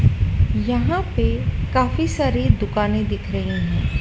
यहां पे काफी सारी दुकानें दिख रही हैं।